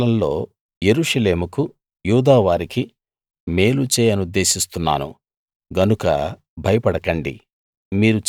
ఈ కాలంలో యెరూషలేముకు యూదావారికి మేలు చేయనుద్దేశిస్తున్నాను గనక భయపడకండి